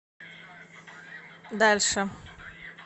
дальше